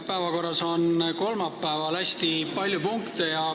Päevakorras on kolmapäeval hästi palju punkte.